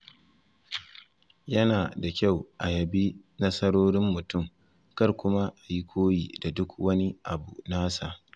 Yana da kyau a yabi nasarorin mutum, kar kuma a yi koyi da duk wani abu nasa.